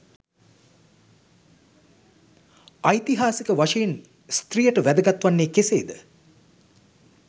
ඓතිහාසික වශයෙන් ස්ත්‍රියට වැදගත් වන්නේ කෙසේද?